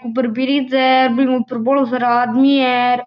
ऊपर फ्रीज है बीके ऊपर बहुत सारा आदमी है।